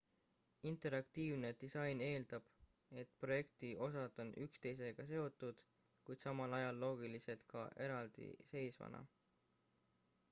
interaktiivne disain eeldab et projekti osad on üksteisega seotud kuid samal ajal loogilised ka eraldiseisvana